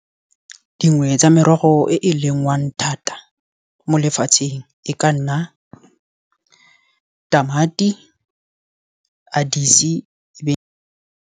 Dingwe tsa merogo e e lengwang thata mo lefatsheng, e ka nna tamati, .